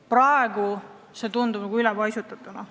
Praegu tundub koosseis ülepaisutatuna.